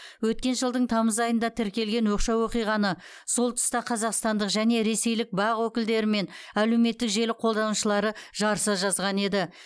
өткен жылдың тамыз айында тіркелген оқшау оқиғаны сол тұста қазақстандық және ресейлік бақ өкілдері мен әлеуметтік желі қолданушылары жарыса жазған еді